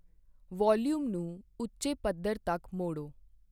volume ਨੂੰ ਉੱਚੇ ਪੱਧਰ ਤੱਕ ਮੋੜੋ